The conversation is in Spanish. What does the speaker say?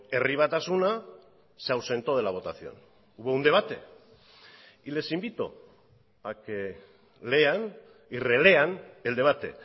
herri batasuna se ausentó de la votación hubo un debate y les invito a que lean y relean el debate